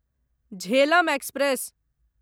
Jhelum express